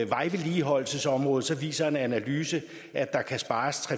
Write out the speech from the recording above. vejvedligeholdelsesområdet viser en analyse at der kan spares